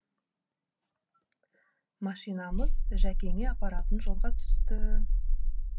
машинамыз жәкеңе апаратын жолға түсті